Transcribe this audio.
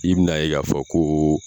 I bɛ na ye ka fɔ ko